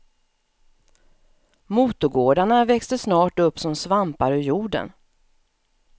Motorgårdarna växte snart upp som svampar ur jorden.